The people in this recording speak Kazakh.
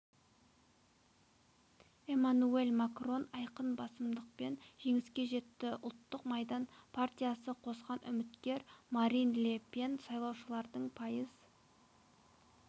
эммануэль макрон айқын басымдықпен жеңіске жетті ұлттық майдан партиясы қосқан үміткер марин ле пен сайлаушылардың пайыз